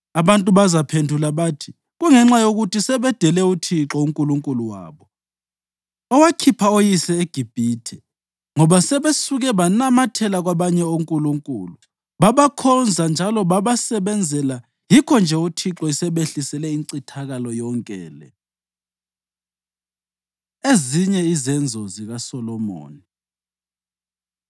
Abantu bazaphendula bathi, ‘Kungenxa yokuthi sebedele uThixo uNkulunkulu wabo, owakhipha oyise eGibhithe, ngoba sebesuke banamathela kwabanye onkulunkulu, babakhonza njalo babasebenzela yikho-nje uThixo esebehlisele incithakalo yonke le.’ ” Ezinye Izenzo ZikaSolomoni